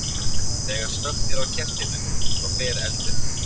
Þegar slökkt er á kertinu, þá fer eldurinn.